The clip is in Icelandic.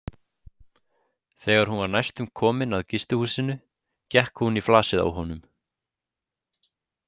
Þegar hún var næstum komin að gistihúsinu gekk hún í flasið á honum.